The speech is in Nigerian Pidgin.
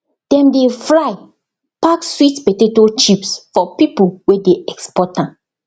dem dey fry pack sweet potato chips for people wey dey export am